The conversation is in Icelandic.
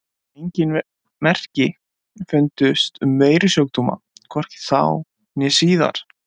ENGIN merki fundust um veirusjúkdóma, hvorki þá né síðar!